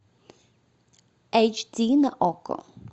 эйч ди на окко